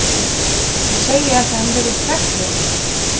Ég segi ekki að hann virðist hræddur.